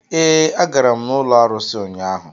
Ee, agara m n'ụlọ arụsị ụnyaahụ.